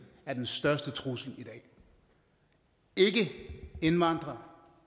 er den største trussel i dag ikke indvandrere